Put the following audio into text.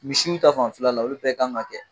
Misiw ta fanfɛla la olu bɛɛ kan ka kɛ.